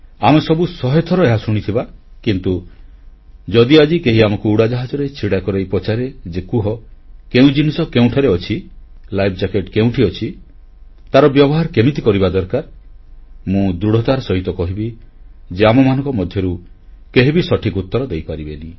ଆମେ ସବୁ ଶହେଥର ଏହା ଶୁଣିଥିବା କିନ୍ତୁ ଯଦି ଆଜି କେହି ଆମକୁ ଉଡ଼ାଜାହାଜରେ ଛିଡ଼ା କରାଇ ପଚାରେ ଯେ କୁହ କେଉଁ ଜିନିଷ କେଉଁଠାରେ ଅଛି ଲାଇଫ୍ ଜ୍ୟାକେଟ ବା ଜୀବନ ରକ୍ଷାକାରୀ ଜାକେଟ କେଉଁଠି ଅଛି ତାର ବ୍ୟବହାର କେମିତି କରିବା ଦରକାର ମୁଁ ଦୃଢ଼ତାର ସହିତ କହିବି ଯେ ଆମମାନଙ୍କ ମଧ୍ୟରୁ କେହି ବି ସଠିକ ଉତ୍ତର ଦେଇପାରିବେନି